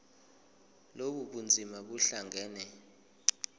lobu bunzima buhlangane